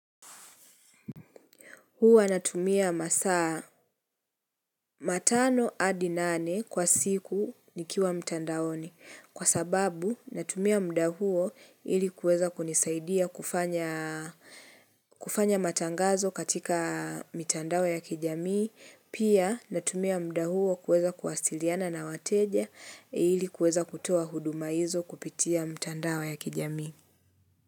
Huwa natumia masaa matano hadi nane kwa siku nikiwa mtandaoni. Huwa natumia masaa matano hadi nane kwa siku nikiwa mtandaoni. Pia natumia muda huo kuweza kuwasiliana na wateja ili kuweza kutoa huduma hizo kupitia mtandao ya kijamii.